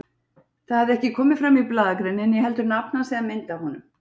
Það hafði ekki komið fram í blaðagreininni, né heldur nafn hans eða mynd af honum.